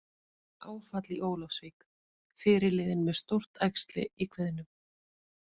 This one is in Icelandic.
Áfall í Ólafsvík- Fyrirliðinn með stórt æxli í kviðnum